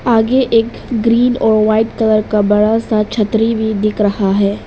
आगे एक ग्रीन और वाइट कलर का बड़ा सा छतरी भी दिख रहा है।